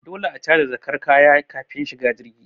Dole a caje jakar kaya kafin shiga jirgi